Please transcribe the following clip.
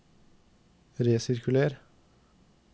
resirkuler